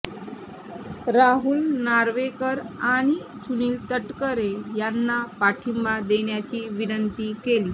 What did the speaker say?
राहुल नार्वेकर आणि सुनील तटकरे यांना पाठिंबा देण्याची विनंती केली